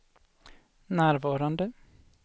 närvarande